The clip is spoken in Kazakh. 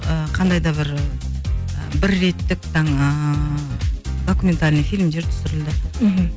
ыыы қандай да бір ііі бір реттік там і документальный фильмдер түсірілді мхм